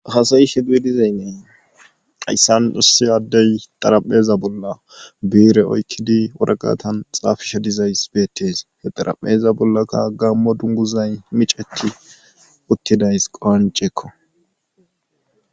hasayishe duwe dizaynnee hayssan issi aaddey xarapheza bolla biire oykkidi waraqatan xaafisha dizays beettes he xara7eza bollakka gammo dunguzay miceti uttidays qonceekko